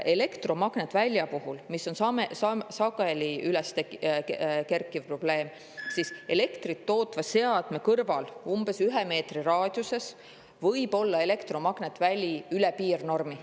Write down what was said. Elektromagnetväli on sageli üles kerkiv probleem, aga elektrit tootva seadme kõrval umbes ühe meetri raadiuses võib olla elektromagnetväli üle piirnormi.